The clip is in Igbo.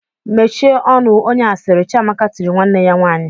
"Mechie ọnụ onye asịrị!" Chiamaka tiri nwanne ya nwaanyị.